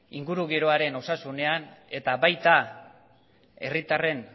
ingurugiroaren osasunean eta baita herritarren